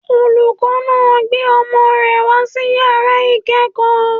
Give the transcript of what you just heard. Olùkọ́ náà gbé ọmọ rẹ̀ wá sí yàrá ìkẹ́kọ̀ọ́